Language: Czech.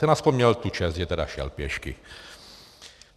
Ten aspoň měl tu čest, že teda šel pěšky.